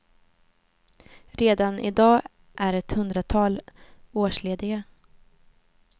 Redan i dag är ett hundratal årslediga.